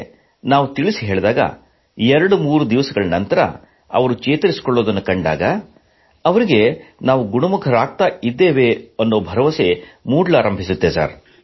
ಆದರೆ ನಾವು ತಿಳಿಸಿ ಹೇಳಿದಾಗ 23 ದಿನಗಳ ನಂತರ ಅವರು ಚೇತರಿಸಿಕೊಳ್ಳುವುದನ್ನು ಕಂಡಾಗ ಅವರಿಗೆ ನಾವು ಗುಣಮುಖರಾಗುತ್ತೇವೆ ಎಂದು ಭರವಸೆ ಮೂಡಲಾರಂಭಿಸುತ್ತದೆ